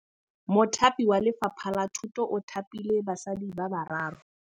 Mothapi wa Lefapha la Thutô o thapile basadi ba ba raro.